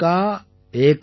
ஏகை மாதீ கே சப் பாண்டே